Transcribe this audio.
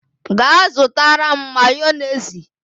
Ga zutara m Mayonezi!